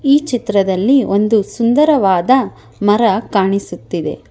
ಈ ಚಿತ್ರದಲ್ಲಿ ಒಂದು ಸುಂದರವಾದ ಮರ ಕಾಣಿಸುತ್ತಿದೆ.